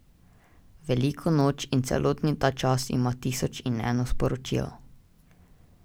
Velika noč in celotni ta čas ima tisoč in eno sporočilo.